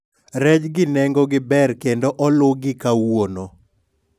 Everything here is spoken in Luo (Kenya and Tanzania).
rejgi nengogi ber kendo oluw gi kawuono